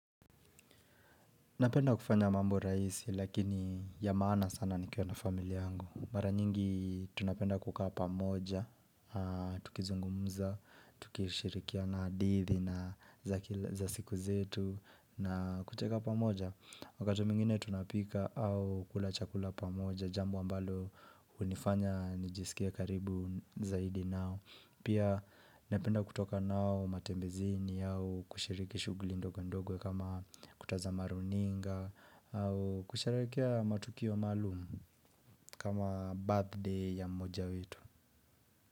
Napenda kufanya mambo rahisi lakini ya maana sana nikiwa na familia yangu Mara nyingi tunapenda kukaa pamoja, tukizungumuza, tukishirikiana hadithi na za siku zetu na kucheka pamoja Wakati mwingine tunapika au kula chakula pamoja jambo ambalo hunifanya nijisikie karibu zaidi nao Pia napenda kutoka nao matembezini au kushiriki shughuli ndogo ndogo kama kutazama runinga au kusherekea matukio maalumu kama birthday ya mmoja wetu.